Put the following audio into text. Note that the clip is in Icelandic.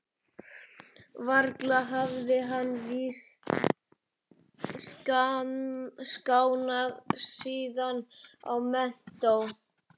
Varla hafði hann víst skánað síðan í menntó.